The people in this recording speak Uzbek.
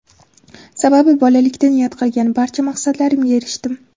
Sababi bolalikda niyat qilgan barcha maqsadlarimga erishdim.